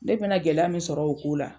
Ne mena gɛlɛya min sɔr'o ko la.